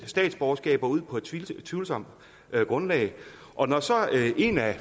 statsborgerskaber ud på et tvivlsomt grundlag og når så en af